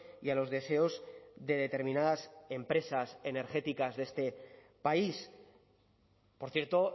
y a los deseos de determinadas empresas energéticas de este país por cierto